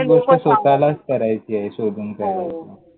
प्रत्येक गोष्ट स्वतःलाच करायची आहे, हो शोधून काढायची आहे.